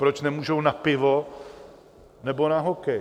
Proč nemůžou na pivo nebo na hokej?